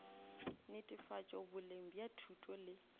netefatšo boleng bja thuto le